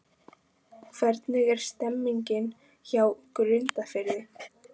Hvernig er stemningin hjá Grundarfirði?